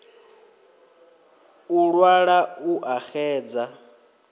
u ṅwala u a xedza